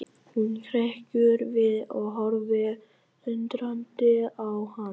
Hún hrekkur við og horfir undrandi á hann.